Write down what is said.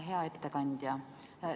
Hea ettekandja!